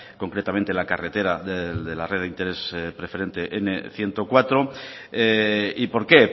concretamente en la carretera de la red de interés preferente nmenos ciento cuatro y por qué